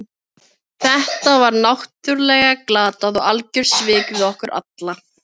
Þetta var náttúrlega glatað og algjör svik við okkur alla.